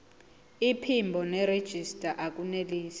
iphimbo nerejista akunelisi